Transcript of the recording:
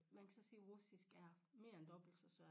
Man kan så sige russisk det er mere end dobbelt så svært